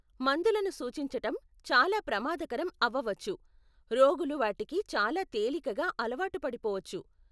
మందులను సూచించటం చాలా ప్రమాదకరం అవ్వవచ్చు, రోగులు వాటికి చాలా తేలికగా అలవాటు పడిపోవచ్చు.